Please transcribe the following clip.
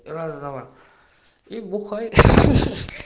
разного и бухай